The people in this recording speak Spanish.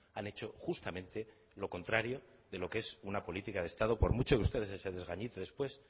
han hecho justamente lo contrario de lo que es una política de estado por mucho que usted se desgañite después